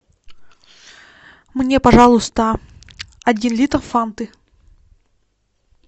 мне пожалуйста один литр фанты